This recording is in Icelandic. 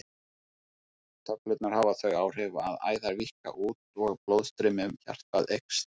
Töflurnar hafa þau áhrif að æðar víkka út og blóðstreymi um hjartað eykst.